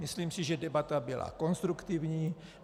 Myslím si, že debata byla konstruktivní.